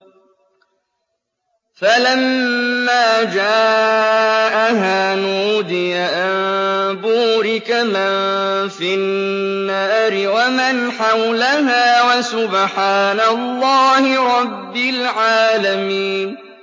فَلَمَّا جَاءَهَا نُودِيَ أَن بُورِكَ مَن فِي النَّارِ وَمَنْ حَوْلَهَا وَسُبْحَانَ اللَّهِ رَبِّ الْعَالَمِينَ